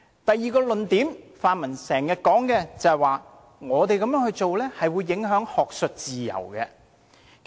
第二，泛民經常說，我們這樣做會影響學術自由。